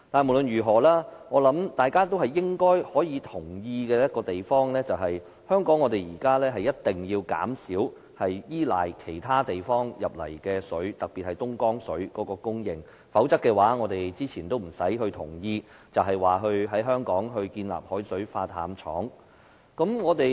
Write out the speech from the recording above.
無論如何，有一點我想大家應該都會同意，便是香港如今一定要減少依賴其他地方供水，特別是東江水的供應，否則，我們之前也不用表示同意在香港興建海水化淡廠了。